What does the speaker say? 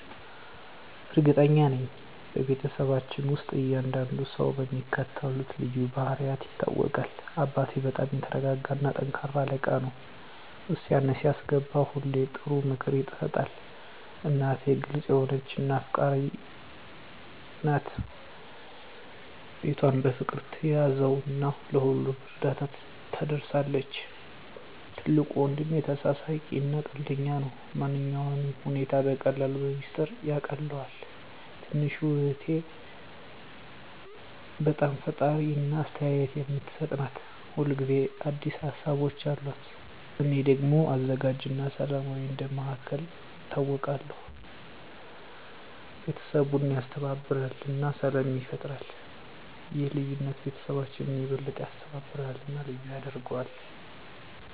እርግጠኛ ነኝ፤ በቤተሰባችን ውስጥ እያንዳንዱ ሰው በሚከተሉት ልዩ ባህሪያት ይታወቃል - አባቴ በጣም የተረጋጋ እና ጠንካራ አለቃ ነው። ውሳኔ ሲያስገባ ሁሌ ጥሩ ምክር ይሰጣል። **እናቴ** ግልጽ የሆነች እና አፍቃሪች ናት። ቤቷን በፍቅር ትያዘው እና ለሁሉም እርዳታ ትደርሳለች። **ትልቁ ወንድሜ** ተሳሳቂ እና ቀልደኛ ነው። ማንኛውንም ሁኔታ በቀላሉ በሚስጥር ያቃልለዋል። **ትንሹ እህቴ** በጣም ፈጣሪ እና አስተያየት የምትሰጥ ናት። ሁል ጊዜ አዲስ ሀሳቦች አሉት። **እኔ** ደግሞ አዘጋጅ እና ሰላማዊ እንደ መሃከል ይታወቃለሁ። ቤተሰቡን ያስተባብራል እና ሰላም ይፈጥራል። ይህ ልዩነት ቤተሰባችንን የበለጠ ያስተባብራል እና ልዩ ያደርገዋል።